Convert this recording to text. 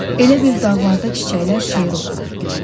Elə bil dağlarda çiçəklər şeir oxuyurdu.